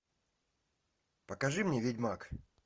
покажи мне ведьмак